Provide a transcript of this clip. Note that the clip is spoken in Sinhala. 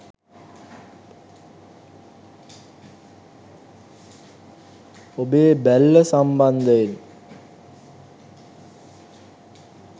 ඔබේ බැල්ල සම්බන්ධයෙන්